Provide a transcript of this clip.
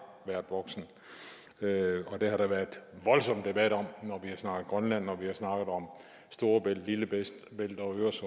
været voksen og der har været voldsom debat om når vi har snakket grønland når vi har snakket om storebælt lillebælt